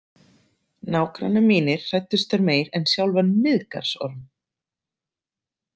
Nágrannar mínir hræddust þær meir en sjálfan Miðgarðsorm.